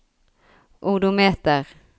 odometer